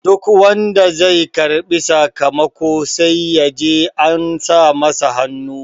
duk wanda zai karbi sakamako sai ya je an sa masa hannu